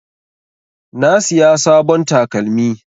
Na siya sabon takalmi.